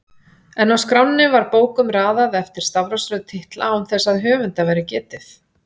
En á skránni var bókum raðað eftir stafrófsröð titla án þess að höfunda væri getið